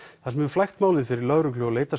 það sem hefur flækt málið fyrir lögreglu og